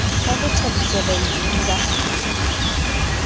ba ho thabisa baadimi ba